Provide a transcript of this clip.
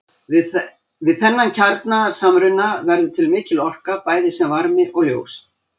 Við þennan kjarnasamruna verður til mikil orka bæði sem varmi og ljós.